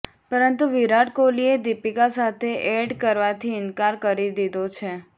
પરંતુ વિરાટ કોહલીએ દીપિકા સાથે એડ કરવાથી ઈનકાર કરી દીધો છે